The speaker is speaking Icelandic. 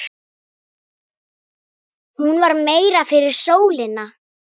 Hún var meira fyrir sólina.